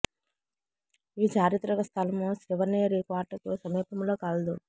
ఈ చారిత్రక స్ధలం శివనేరి కోట కు సమీపంలో కలదు